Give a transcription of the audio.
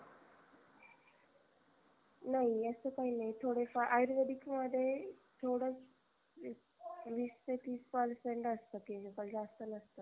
नाही नाही अस काही नाही थोडे फार आयुर्वेदिक मध्ये थोड वीस ते तीस percent असत chemical जास्त नसत